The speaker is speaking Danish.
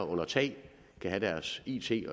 under tag med deres it